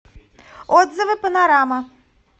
отзывы панорама